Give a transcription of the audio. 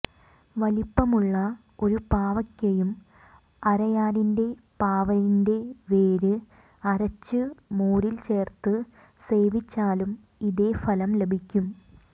വലിപ്പമുള്ള ഒരു പാവയ്ക്കയും അരയാലിന്റെ പാവലിന്റെ വേര് അരച്ച് മോരിൽ ചേർത്ത് സേവിച്ചാലും ഇതേ ഫലം ലഭിക്കും